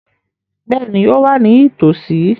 Bẹ́ẹ̀ni, ó wà ní ìtòòsí.